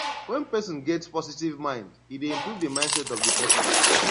when person get positive mind e dey improve di mindset of person